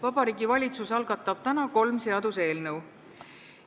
Vabariigi Valitsus algatab täna kolm seaduseelnõu.